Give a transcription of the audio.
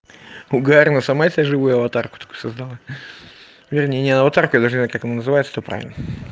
угар но сама себе живую аватарку только создала вернее не аватарку я даже не знаю как называется-то правильно